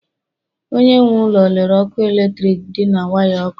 Onye nwe ụlọ lere ọkụ eletrik dị na waya ọkụ